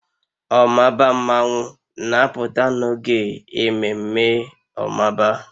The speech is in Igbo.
Omaba mmanwu na-apụta n'oge ememme omaba